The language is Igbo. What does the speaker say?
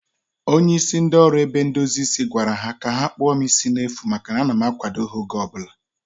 Onye isi ndị oru ebe ndozi isi gwara ha ka ha kpụọ m isi n'efu maka na a na m akwado ha oge ọbụla